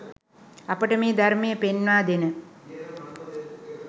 අපට මේ ධර්මය පෙන්වා දෙන